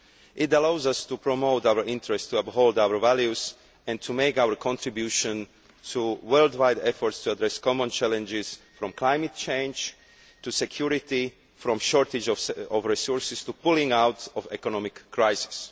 It allows us to promote our interests, to uphold our values and to make our contribution to worldwide efforts to address common challenges, from climate change to security, and from a shortage of resources to pulling out of the economic crisis.